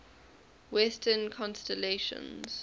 western constellations